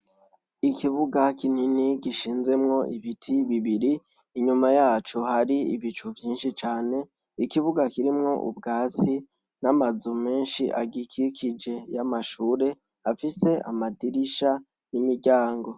Ikibuga kinini gishinzemwo ibiti bibiri inyuma yacu hari ibicu vyinshi cane ikibuga kirimwo ubwatsi n'amazu menshi agikikije y'amashure afise amadirisha n'imiryango.